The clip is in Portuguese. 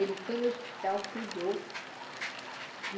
Ele foi no hospital, cuidou.